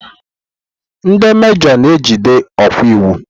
Ndị mejoo na ejide okwa iwu.